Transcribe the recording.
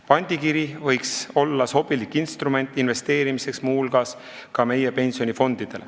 Pandikiri võiks muu hulgas olla ka meie pensionifondidele investeerimiseks sobilik instrument.